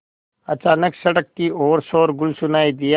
अचानक सड़क की ओर शोरगुल सुनाई दिया